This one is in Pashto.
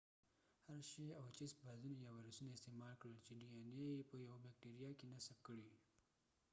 هرشي او چېس فاژونو یا وایرسونه استعمال کړل چې ډي این اې يې په یوه بېکټیریا کې نصب کړي